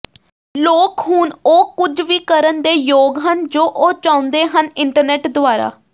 ਲੋਕ ਹੁਣ ਉਹ ਕੁਝ ਵੀ ਕਰਨ ਦੇ ਯੋਗ ਹਨ ਜੋ ਉਹ ਚਾਹੁੰਦੇ ਹਨ ਇੰਟਰਨੈਟ ਦੁਆਰਾ